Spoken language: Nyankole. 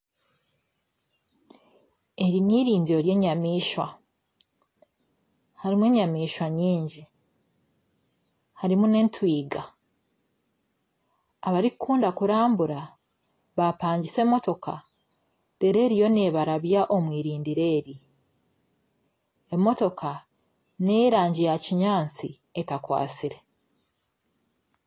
Eri n'eirindiro ry'enyamaishwa harimu enyamaishwa nyingi harimu n'entwiga abarikukunda kurabura baapangisa emotoka reero eriyo neebarabya omu irindiro eri emotoka n'ey'erangi yakinyaatsi etakwatsire